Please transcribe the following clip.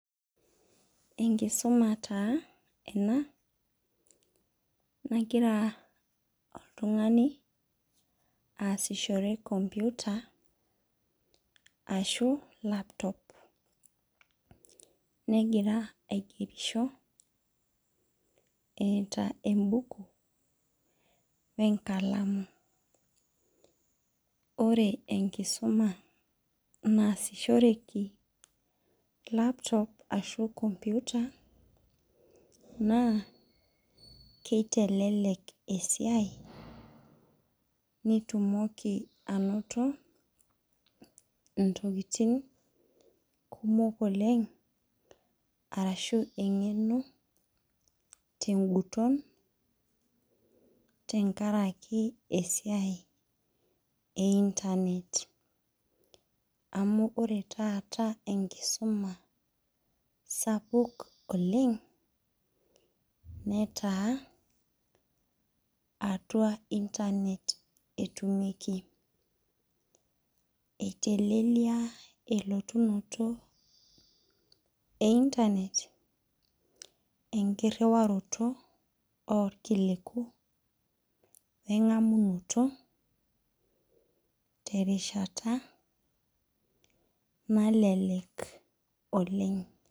Engisuma taa ena nagira oltungani aasishore computer ashu laptop negira aigerisho eeta embuku wenkalamu ore enkisuma naasishoreki laptop ashu computer na kiteleek esiai nitumokibainoto ntokitin kumok oleng arashu emgeno tenguton tenkaraki esiai e internet amu ore taata enkisuma sapuk oleng netaa atua internet etuumieki eitelelai eunoto e internet enkiriwaroto orkiliku wengamunoto terishata nelelek Oleng